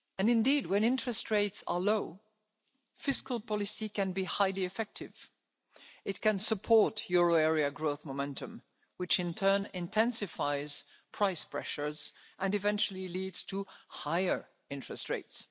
Indeed, when interest rates are low, fiscal policy can be highly effective it can support euro area growth momentum, which in turn intensifies price pressures and eventually leads to higher interest rates.